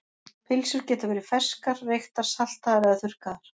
Pylsur geta verið ferskar, reyktar, saltaðar eða þurrkaðar.